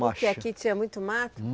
Macha. Porque aqui tinha muito mato?